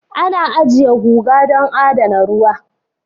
Ana ajiye guga don adana ruwa